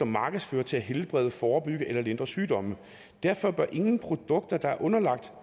markedsføres til at helbrede forebygge eller lindre sygdomme derfor bør ingen produkter der er underlagt